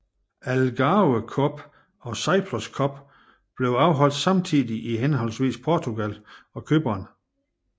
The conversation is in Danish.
Algarve Cup og Cyprus Cup blev afholdt samtidig i henholdsvis Portugal og Cypern